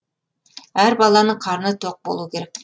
әр баланың қарны тоқ болуы керек